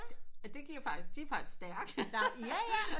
At det giver faktisk de er faktisk stærke